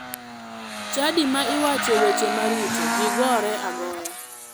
Chadi ma iwache weche maricho ji gore agoya.